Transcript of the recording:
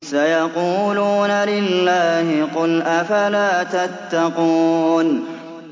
سَيَقُولُونَ لِلَّهِ ۚ قُلْ أَفَلَا تَتَّقُونَ